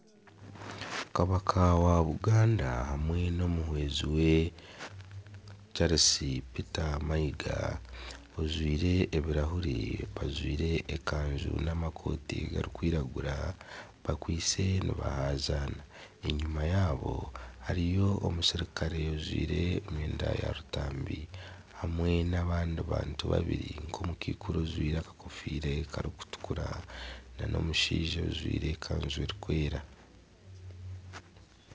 Kabaka wa Buganda hamwe n'omuhwezi Charles Peter Mayiga ojwire ebirahure bajwire ekaju hamwe n'amakooti garikwiragura bariyo nibahazana enyima yaabo hariyo omusirikare ojwire emyenda ya kitanga hamwe n'abandi bantu babiri nk'omukaikuru ojwire akakofiire karikutukura n'omushaija ojwire ekanju erikwera